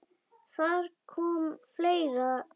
Þar kom fleira til.